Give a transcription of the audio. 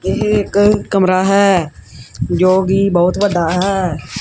ਏਹ ਇੱਕ ਕਮਰਾ ਹੈ ਜੋ ਕੀ ਬਹੁਤ ਵੱਡਾ ਹੈ।